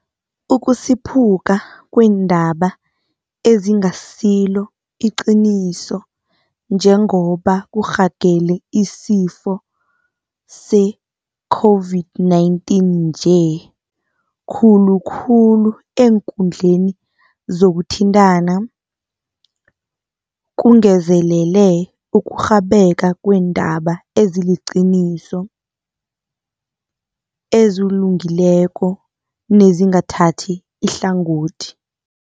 Ukusiphuka kweendaba ezingasilo iqiniso njengoba kurhagele isifo s-eCOVID-19 nje, khulu khulu eenkundleni zokuthintana, kungezelele ukurhabeka kweendaba eziliqiniso, ezilungileko nezingathathi ihlangothi.